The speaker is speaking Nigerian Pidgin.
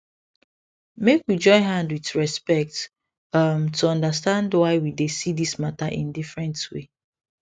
make we join hand with respect um to understand why we dey see this matter in different way